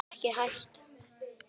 Ekki hægt.